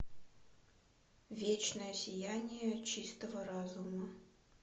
вечное сияние чистого разума